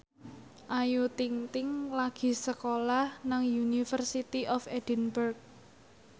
Ayu Ting ting lagi sekolah nang University of Edinburgh